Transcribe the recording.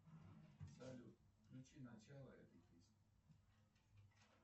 салют включи начало этой песни